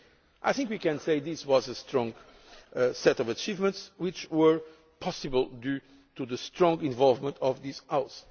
I think we can say that this was a strong set of achievements, which were possible due to the strong involvement of this House.